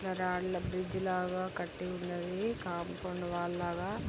రాళ్ల బ్రిడ్జి లాగా కట్టి ఉన్నది. కంపౌండ్ వాల్ లాగా.